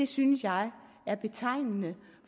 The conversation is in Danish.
synes jeg er betegnende